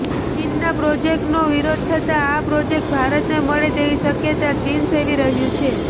ચીનના પ્રોજેકટનો વિરોધ થતાં આ પ્રોજેક્ટ ભારતને મળે તેવી શક્યતા ચીન સેવી રહ્યું છે